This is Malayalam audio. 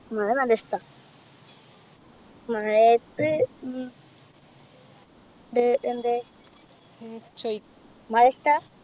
മഴ നല്ലിഷ്ട്ട മഴയത്ത് ഉം ഉണ്ട് എന്ത് മഴ ഇഷ്ട്ട